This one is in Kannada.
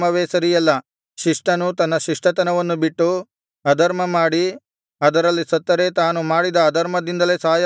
ಶಿಷ್ಟನು ತನ್ನ ಶಿಷ್ಟತನವನ್ನು ಬಿಟ್ಟು ಅಧರ್ಮಮಾಡಿ ಅದರಲ್ಲಿ ಸತ್ತರೆ ತಾನು ಮಾಡಿದ ಅಧರ್ಮದಿಂದಲೇ ಸಾಯಬೇಕಾಯಿತು